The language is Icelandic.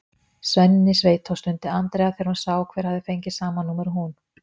Svenni sveitó! stundi Andrea þegar hún sá hver hafði fengið sama númer og hún.